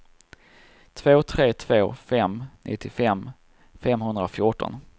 två tre två fem nittiofem femhundrafjorton